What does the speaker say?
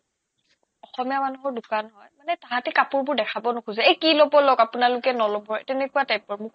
অসমীয়া মানুহৰ দোকান হয় মানে তাহাতে কাপোৰবোৰ দেখাব নোখোজে কি ল'ব লওক আপোনালোকে নল'বয়ে তেনেকুৱা type ৰ